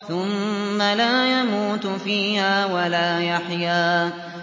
ثُمَّ لَا يَمُوتُ فِيهَا وَلَا يَحْيَىٰ